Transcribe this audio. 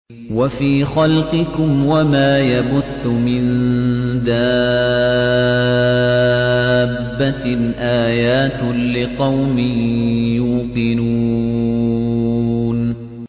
وَفِي خَلْقِكُمْ وَمَا يَبُثُّ مِن دَابَّةٍ آيَاتٌ لِّقَوْمٍ يُوقِنُونَ